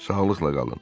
Sağlıqla qalın.